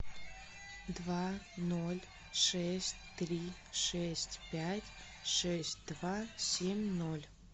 два ноль шесть три шесть пять шесть два семь ноль